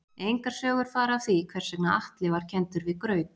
Engar sögur fara af því hvers vegna Atli var kenndur við graut.